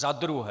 Za druhé.